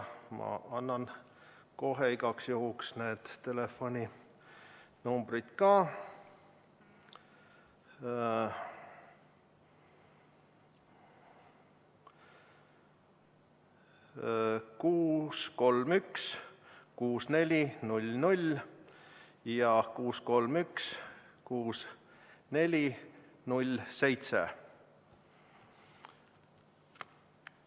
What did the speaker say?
Ma annan kohe igaks juhuks need telefoninumbrid ka: 631 6400 ja 631 6407.